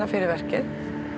fyrir verkið